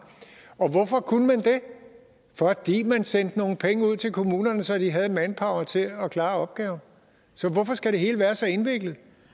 hvorfor kunne man det fordi man sendte nogle penge ud til kommunerne så de havde manpower til at klare opgaven så hvorfor skal det hele være så indviklet